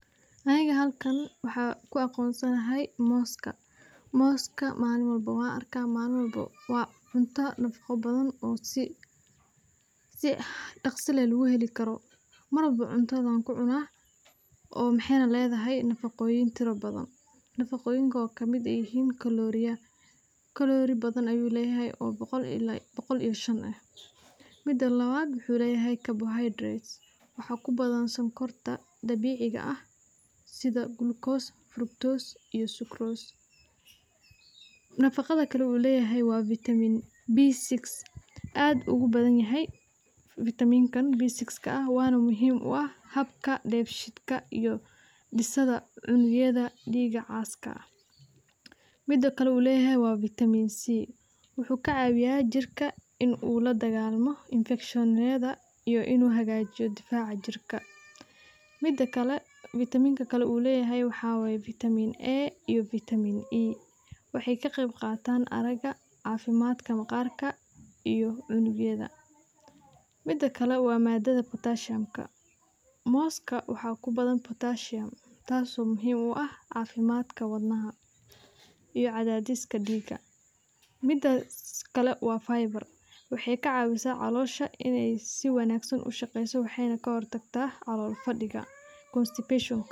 Halkan waxaan ku aqoonsanay mooska, waa cunto nafaqo badan, waxaay ledahay nafaqo fara badan, mida labaad waxaa kubadan sokorta dabiiciga ah, wuxuu leyahay vitaaamin badan, mida kale wuxuu kacawiya jirka inuu ladagaalo cudurda, waxeey ka qeyb qaatan araga, mooska tas oo muhiim u ah cafimaadka wadnaha, waxeey ka cawisa caloosha.